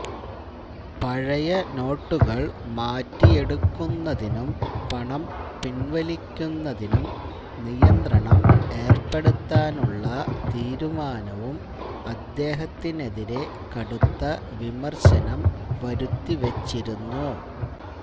പഴയ നോട്ടുകൾ മാറ്റിയെടുക്കുന്നതിനും പണം പിൻവലിക്കുന്നതിനും നിയന്ത്രണം ഏർപ്പെടുത്താനുള്ള തീരുമാനവും അദ്ദേഹത്തിനെതിരെ കടുത്ത വിമർശനം വരുത്തിവച്ചിരുന്നു